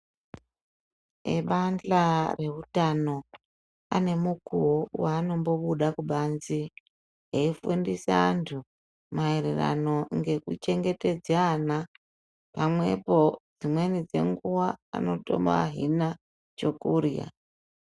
Ebandla reutano ane mukuwo waanombobuda kubanze, eifundisa antu maererano ngekuchengetedze ana. Pamwepo dzimweni dzenguwa anotobahina chokurya.